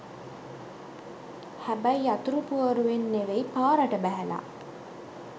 හැබැයි යතුරු පුවරුවෙන් නෙවෙයි පාරට බැහැලා